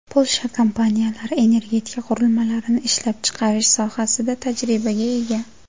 Polsha kompaniyalari energetika qurilmalarini ishlab chiqarish sohasida tajribaga ega.